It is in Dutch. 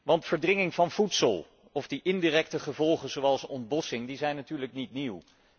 Want verdringing van voedsel of die indirecte gevolgen zoals ontbossing, die zijn natuurlijk niet nieuw.